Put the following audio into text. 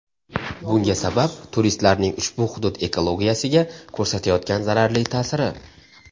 Bunga sabab turistlarning ushbu hudud ekologiyasiga ko‘rsatayotgan zararli ta’siri.